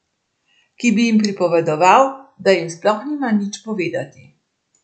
Ki bi jim pripovedoval, da jim sploh nima nič povedati.